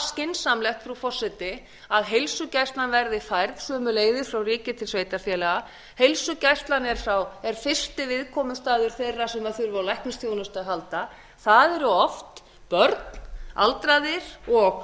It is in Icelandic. skynsamlegt frú forseti að heilsugæslan verði færð sömuleiðis frá ríki til sveitarfélaga heilsugæslan er fyrsti viðkomustaður þeirra sem þurfa á læknisþjónustu að halda það eru oft börn aldraðir og